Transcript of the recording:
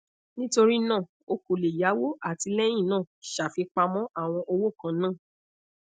nitorinaa o ko le yawo ati lẹhinna ṣafipamọ awọn owo kanna